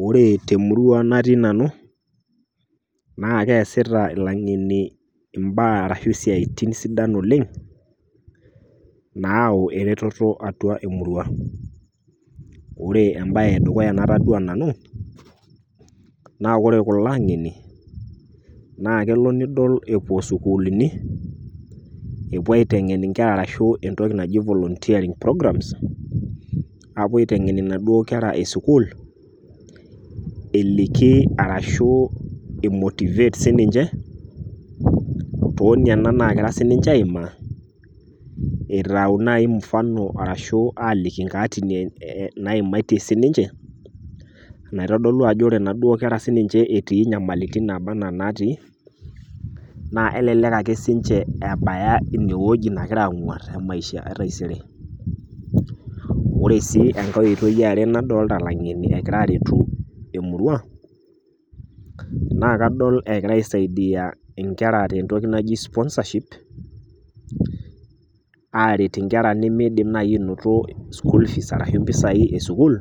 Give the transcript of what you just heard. wore temurua natii nanu naa keesita ilang'eni imbaa ashu isiaitin sidan oleng nau eretoto atua emurua, ore embaye edukuya natadua nanu naa wore kulo ang'eni naa kelo nidol epuo isukuluni epuo aiteng'en inkera arashu entoki naji volunteering program apuo aiteng'en inaduo kera esukul eliki arashu i motivate sininche toniana nagira sininche aimaa itau naaji mfano arashu aliki inkaatini naimatie sininche enaitodolu ajo wore inaduo kera sininche etii inyamalitin naba anaa natii naa elelek ake sinche ebaya ina woji nagira ang'uarr te maisha etaisere ore sii enkae oitoi eare nadolta ilang'eni egira aretu emurua naa kadol ekira aisaidiyia inkera tentoki naji sponsorship aret inkera nimiidim naaji ainoto school fees arashu impisai esukul